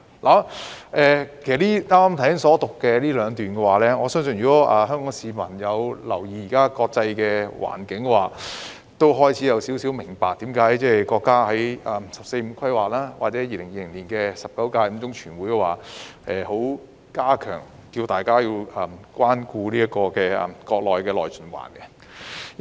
關於我剛才引述的兩段，香港市民有留意現時的國際環境也應該開始明白，為何國家會在"十四五"規劃及2020年的中共第十九屆五中全會呼籲要關顧國家內循環。